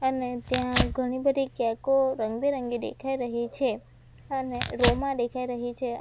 અને ત્યાં ઘણી બધી કૅકો રંગબેરંગી દેખાય રહી છે અને રૉ માં દેખાઈ રહી છે.